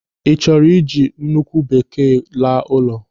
Ị chọrọ iji nkwụ bekee laa ụlọ?